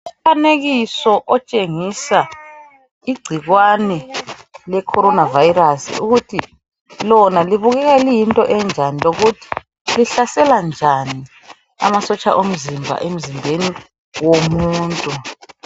Umfanekiso otshengisa igcikwane lecorona virus ukuthi lona libukeka liyinto enjani lokuthi lihlasela njani amasotsha omzimba emzimbeni womuntu.